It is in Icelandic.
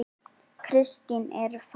Kristín er farin